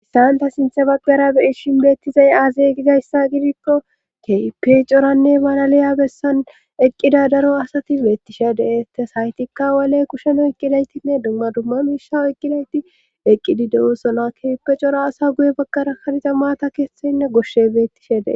Issanta sinthe baggara beyishin beettizay aaze gizayssa gidikko keyipe coranne malaliya bessan eqqida daro asati beettishe dee tes haytikka waley kusheno eqqidaytinne dumma dumma miisha eqqidayti eqqidi dewo sola keyipe cora asa guye baggara kariza maata kestoynne goshshe beettishe dee.